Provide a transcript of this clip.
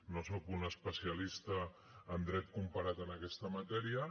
no sóc un especialista en dret comparat en aquesta matèria